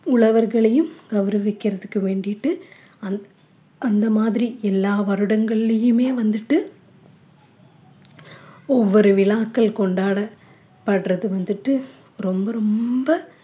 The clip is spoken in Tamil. உழவர்களையும் கௌரவிக்கறதுக்கு வேண்டிட்டு அந்~அந்த மாதிரி எல்லா வருடங்கள்லயுமே வந்துட்டு ஒவ்வொரு விழாக்கள் கொண்டாடப்படுறது வந்துட்டு ரொம்ப ரொம்ப